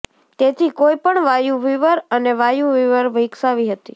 તેથી કોઈપણ વાયુ વિવર અને વાયુ વિવર વિકસાવી હતી